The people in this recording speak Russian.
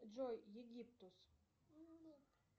джой египтус